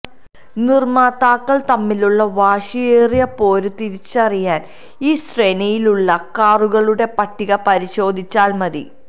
നിര്മ്മാതാക്കള് തമ്മിലുള്ള വാശിയേറിയ പോര് തിരിച്ചറിയാന് ഈ ശ്രേണിയിലുള്ള കാറുകളുടെ പട്ടിക പരിശോധിച്ചാല് മതി